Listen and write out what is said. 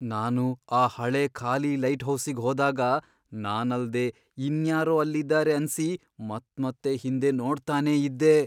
ನಾನು ಆ ಹಳೇ ಖಾಲಿ ಲೈಟ್ಹೌಸಿಗ್ ಹೋದಾಗ ನಾನಲ್ದೇ ಇನ್ಯಾರೋ ಅಲ್ಲಿದಾರೆ ಅನ್ಸಿ ಮತ್ಮತ್ತೆ ಹಿಂದೆ ನೋಡ್ತಾನೇ ಇದ್ದೆ.